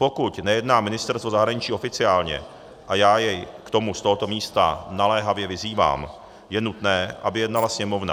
Pokud nejedná ministerstvo zahraničí oficiálně - a já je k tomu z tohoto místa naléhavě vyzývám - je nutné, aby jednala Sněmovna.